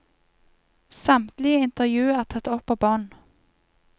Samtlige intervju er tatt opp på bånd.